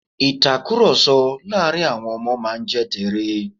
ìtakùròsọ láàrin àwọn Ọmọ máa n jẹ́ teré